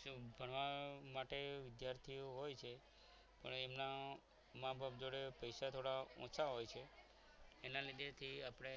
કેવું ભણવા માટે વિદ્યાર્થીઓ હોય છે પણ એમના મા બાપ જોડે પૈસા થોડા ઓછા હોય છે એના લીધે થી આપણે